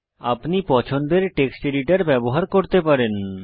আপনি পছন্দের text editor ব্যবহার করতে পারেন